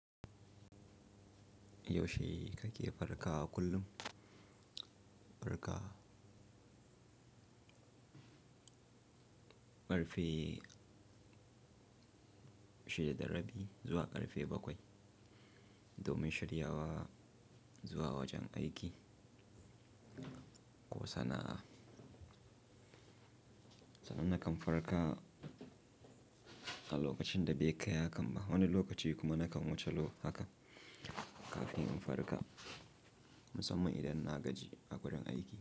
Yaushe kake farka kullum? Farka ƙarfe shida da rabi zuwa ƙarfe bakwai, domin shiryawa zuwa wajen aiki. Ko sana'a. Sanan na kan farka a lokacin da bai kai hakan ba. Wani lokaci kuma nakan wuce lokaci haka kafin in farka, musamman idan na gaji a wurin aiki.